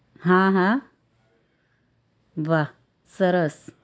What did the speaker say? હા હા વાહ સરસ